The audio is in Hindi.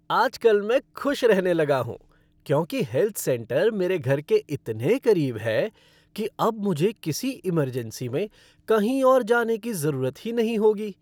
आजकल मैं खुश रहने लगा हूँ, क्योंकि हेल्थ सेंटर मेरे घर के इतने करीब है कि अब मुझे किसी इमरजेंसी में कहीं और जाने की ज़रूरत ही नहीं होगी।